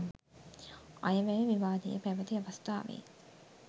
අයවැය විවාදය පැවැති අවස්ථාවේ